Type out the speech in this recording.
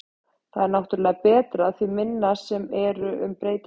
Það er náttúrulega betra því minna sem eru um breytingar.